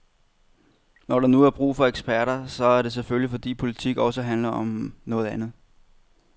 Når der nu er brug for eksperter, så er det selvfølgelig fordi politik også handler om noget andet.